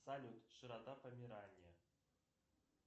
салют широта помирания